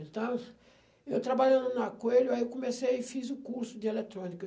Então, eu trabalhando na Coelho, aí eu comecei e fiz o curso de eletrônica.